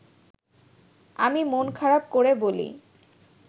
আমি মন খারাপ করে বলি